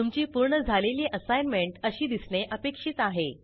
तुमची पूर्ण झालेली असाईनमेंट अशी दिसणे अपेक्षित आहे